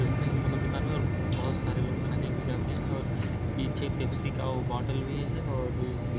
इसके यहाँ मतलब दुकान मे बहोत सारी खाने के लिए जाते हैं और पीछे पेप्सी का बॉटल भी हैं और--